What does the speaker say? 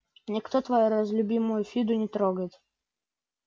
никто твою разлюбимую фиду не трогает